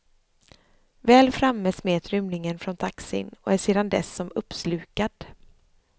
Väl framme smet rymlingen från taxin och är sedan dess som uppslukad.